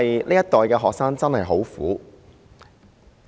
這一代學生真的很苦。